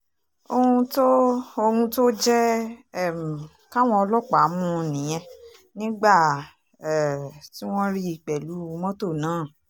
ohun tó ohun tó jẹ́ um káwọn ọlọ́pàá mú un nìyẹn nígbà um tí wọ́n rí i pẹ̀lú mọ́tò náà